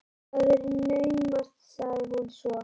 Það er naumast- sagði hún svo.